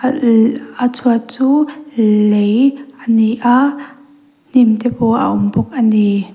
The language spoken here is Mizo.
a a chhuat chu l-l lei ani a hnim te pawh a awm bawk a ni.